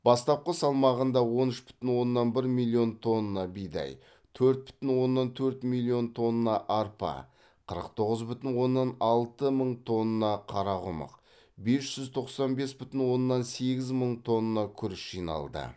бастапқы салмағында он үш бүтін оннан бір миллион тонна бидай төрт бүтін оннан төрт миллион тонна арпа қырық тоғыз бүтін оннан алты мың тонна қарақұмық бес жүз тоқсан бес бүтін оннан сегіз мың тонна күріш жиналды